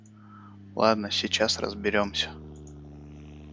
ладно сейчас разберёмся